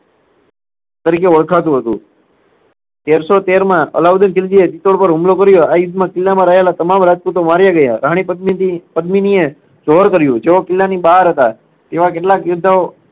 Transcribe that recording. તરીકે ઓળખાતું હતું. તેર સો તેરમા અલાઉદ્દીન ખિલજીએ ચિત્તોડ પર હુમલો કર્યો. આ યુદ્ધમાં કિલ્લામાં રહેલા તમામ રાજપૂતો માર્યા ગયા. રાણી પદ્મીતી~પદ્મિનીએ જોહર કર્યું. જોહર કિલ્લાની બહાર હતા. તેવા કેટલાક યોદ્ધાઓ